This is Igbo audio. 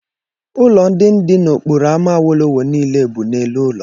Ụlọ ndị dị n'okporo ámá awolowo niile bụ n'elu ụlọ.